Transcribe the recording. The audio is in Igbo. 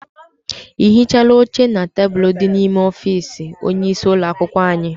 I hichaala oche na tebulu dị n'ime ọfịịsi onye isi ụlọakwụkwọ anyị?